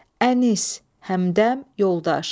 Ənis, həmdəm, yoldaş.